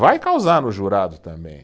Vai causar no jurado também.